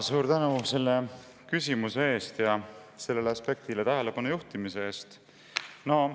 Suur tänu selle küsimuse eest ja sellele aspektile tähelepanu juhtimise eest!